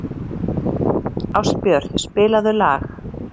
Ástbjört, spilaðu lag.